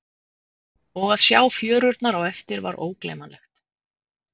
Og að sjá fjörurnar á eftir var ógleymanlegt!